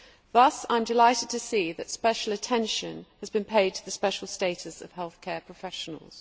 Thus I am delighted to see that special attention has been paid to the special status of healthcare professionals.